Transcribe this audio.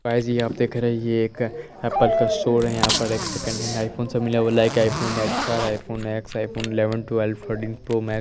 guys ये आप देख रहे हैं ये एक एप्पल का स्टोर है यहाँ पर एक सेकंड हैण्ड आईफ़ोन से मिला हुआ है --